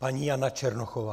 Paní Jana Černochová.